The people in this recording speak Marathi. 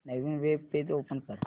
नवीन वेब पेज ओपन कर